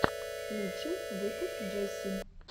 лучший выпуск джесси